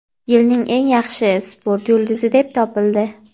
"Yilning eng yaxshi sport yulduzi" deb topildi.